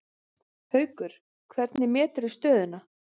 Haukur: Hvernig meturðu stöðuna?